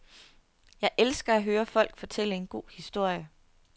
Jeg elsker at høre folk fortælle en god historie.